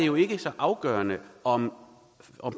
jo ikke så afgørende om